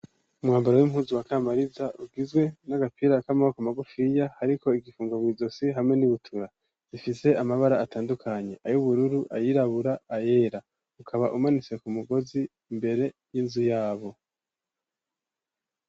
Umwambaro w'impuzu wa Kamariza ugizwe n'agapira k'amaboko magufiya ariko igifungo mw'izosi hamwe n'ibutura ifise amabara atandukanye: ay'ubururu, ayirabura, ayera ukaba umanitse ku mugozi imbere y'inzu yabo.